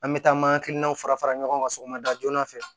An bɛ taa an ma hakilinaw fara fara ɲɔgɔn kan sɔgɔmada joona fɛ